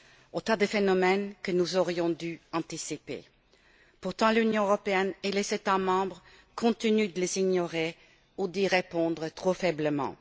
Autant de phénomènes que nous aurions dû anticiper. Pourtant, l'Union européenne et les États membres continuent de les ignorer ou d'y répondre trop faiblement.